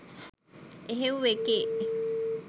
එහෙව් එකේ